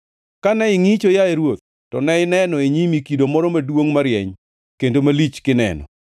“Kane ingʼicho, yaye ruoth, to ne ineno e nyimi kido moro maduongʼ marieny kendo malich kineno.